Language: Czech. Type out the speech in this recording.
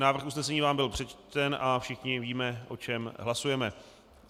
Návrh usnesení vám byl přečten a všichni víme, o čem hlasujeme.